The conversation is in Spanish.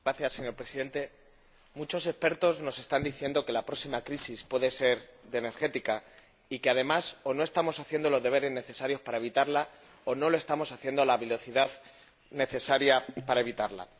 Señor Presidente, muchos expertos nos están diciendo que la próxima crisis puede ser energética y que, además, o no estamos haciendo los deberes necesarios para evitarla o no lo estamos haciendo a la velocidad necesaria para evitarla.